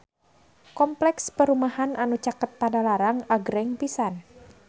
Kompleks perumahan anu caket Padalarang agreng pisan